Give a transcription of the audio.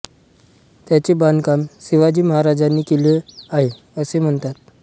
त्यांचे बांधकाम शिवाजी महाराजांनी केले आहे असे म्हणतात